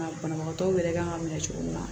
banabagatɔw yɛrɛ kan ka minɛ cogo min na